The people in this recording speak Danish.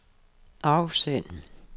afsend